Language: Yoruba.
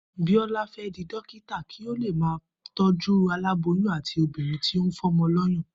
Bíó̩lá fé̩ di dókítà kí ó ba lè máa tó̩jú aláboyún àti obìnrin tí ó ń fó̩mo̩ ló̩yàn